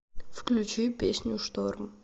включи песню шторм